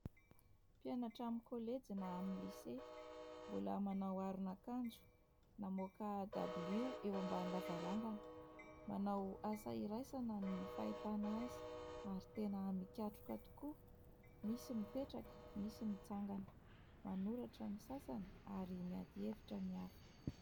mpianatra amin'i kolejina na amin'ny lise, mbola manao aron'akanjo namoaka dabilio eo ambanin'ny lavarangana manao asa iraisana ny fahitana azy ary tena mikatroka tokoa; nisy mipetraka nisy mitsangana manoratra ny sasany ary miady hevitra ny hafa